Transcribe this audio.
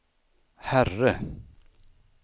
herre